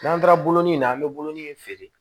N'an taara bolonin in na an be bolonɔnin feere